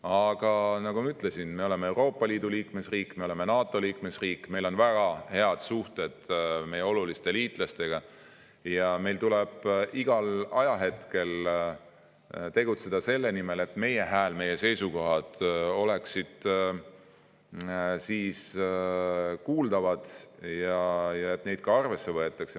Aga nagu ma ütlesin, me oleme Euroopa Liidu riik, me oleme NATO liikmesriik, meil on väga head suhted meie oluliste liitlastega ning meil tuleb igal ajahetkel tegutseda selle nimel, et meie seisukohad oleksid kuuldavad ja et neid ka arvesse võetaks.